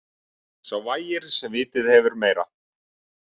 Sá vægir sem vitið hefur meira.